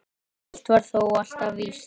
Eitt var þó alltaf víst.